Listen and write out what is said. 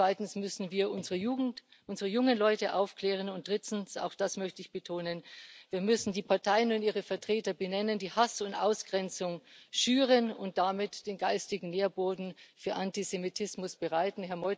Zweitens müssen wir unsere Jugend, unsere jungen Leute aufklären, und drittens, auch das möchte ich betonen, müssen wir die Parteien und ihre Vertreter benennen, die Hass und Ausgrenzung schüren und damit den geistigen Nährboden für Antisemitismus bereiten.